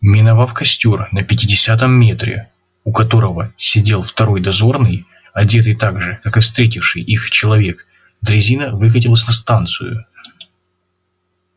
миновав костёр на пятидесятом метре у которого сидел второй дозорный одетый так же как и встретивший их человек дрезина выкатилась на станцию